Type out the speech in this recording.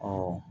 Ɔ